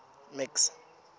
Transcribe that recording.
max